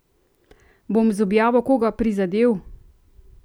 Bom z objavo koga prizadel?